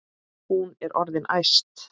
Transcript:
Hún er orðin æst.